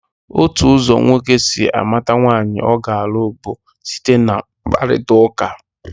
Otu ụzọ nwoke si amata nwaanyị ọ ga-alụ bụ site na mkparịtaụka.